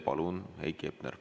Palun, Heiki Hepner!